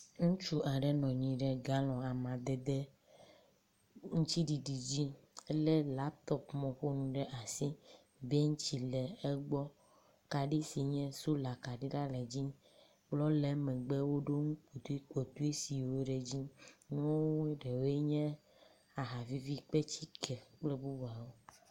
Ŋutsu aɖe nɔ anyi ɖe galɔn amadede aŋtsiɖiɖi dzi ele laptɔpmɔƒonu ɖe asi. Bentsi le egbɔ, kaɖi si nye sola kaɖi la le dzi. Kplɔ le emegbe emegbe woɖo ŋu ɖi kple besiwo ɖe edzi. Nu ɖewoe nye aha vivi kpetsike kple bubuawo.